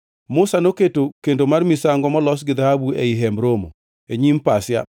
Musa noketo kendo mar misango molos gi dhahabu ei Hemb Romo e nyim pasia